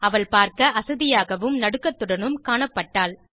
அவள் பார்க்க அசதியாகவும் நடுக்கத்துடனும் காணப்பட்டாள்